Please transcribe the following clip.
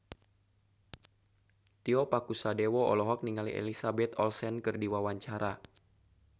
Tio Pakusadewo olohok ningali Elizabeth Olsen keur diwawancara